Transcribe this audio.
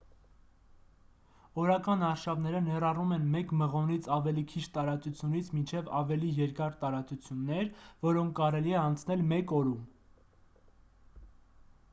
օրական արշավները ներառում են մեկ մղոնից ավելի քիչ տարածությունից մինչև ավելի երկար տարածություններ որոնք կարելի է անցնել մեկ օրում